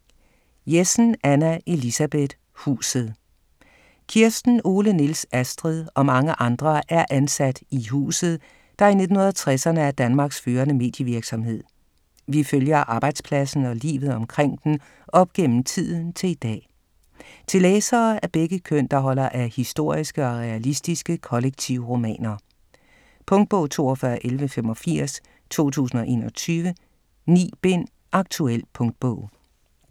Jessen, Anna Elisabeth: Huset Kirsten, Ole, Niels, Astrid og mange andre er ansat i "Huset", der i 1960'erne er Danmarks førende medievirksomhed. Vi følger arbejdspladsen og livet omkring den op gennem tiden til i dag. Til læsere af begge køn, der holder af historiske og realistiske kollektivromaner. Punktbog 421185 2021. 9 bind. Aktuel punktbog